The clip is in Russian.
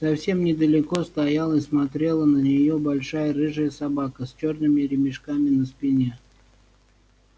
совсем недалеко стояла и смотрела на неё большая рыжая собака с чёрными ремешками на спине